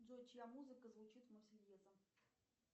джой чья музыка звучит в марсельеза